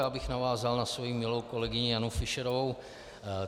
Já bych navázal na svoji milou kolegyni Janu Fischerovou.